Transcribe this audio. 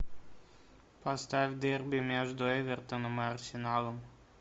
поставь дерби между эвертоном и арсеналом